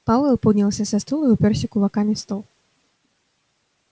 пауэлл поднялся со стула и упёрся кулаками в стол